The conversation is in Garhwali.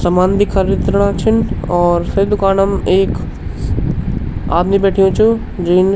सामान भी खरीदणा छिन और सभी दूकानम एक आदमी बैठ्यु चु जीन --